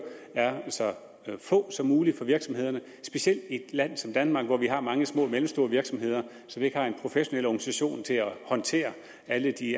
er så få som muligt for virksomhederne specielt i et land som danmark hvor vi har mange små og mellemstore virksomheder som ikke har en professionel organisation til at håndtere alle de